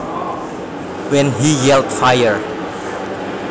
When he yelled fire